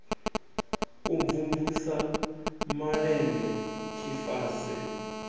u mvumvusa sa malende tshifase